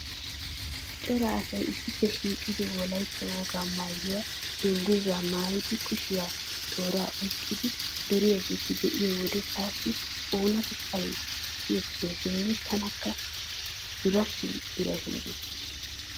Cora asay issippe shiiqidi wolaytta wogaa maayuwa dungguzzaa maayidi kushiyan tooraa oyqqidi duriyageeta be'iyo wode taassi oonatettay siyetteesinne tanakka duration duration gees.